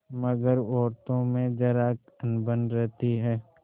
मगर औरतों में जरा अनबन रहती है